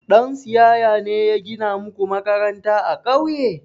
Ɗan siyaya ne ya gina muku makaranta a ƙauye?